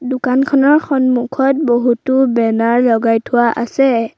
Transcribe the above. দোকানখনৰ সন্মুখত বহুতো বেনাৰ লগাই থোৱা আছে।